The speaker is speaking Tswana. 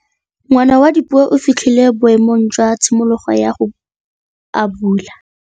Ngwana wa Dipuo o fitlhile boêmô jwa tshimologô ya go abula.